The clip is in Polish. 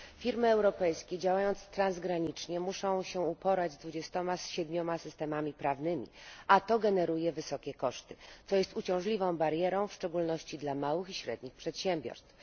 Firmy europejskie, działając transgranicznie, muszą się uporać z 27 systemami prawnymi, a to generuje wysokie koszty, co stanowi uciążliwą barierę, w szczególności dla małych i średnich przedsiębiorstw.